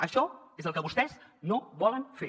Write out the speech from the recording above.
això és el que vostès no volen fer